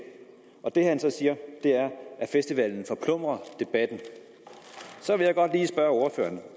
og det han så siger er at festivalen forplumrer debatten så vil jeg godt lige spørge ordføreren